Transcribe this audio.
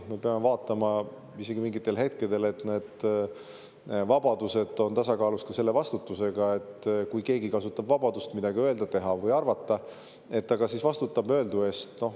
Me peame isegi mingitel hetkedel vaatama, kas need vabadused ikka on tasakaalus vastutusega, et kui keegi kasutab vabadust midagi öelda, teha või arvata, siis ta ka vastutaks öeldu eest.